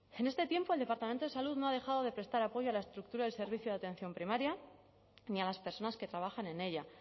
en este tiempo el departamento de salud no ha dejado de prestar apoyo a la estructura del servicio de atención primaria ni a las personas que trabajan en ella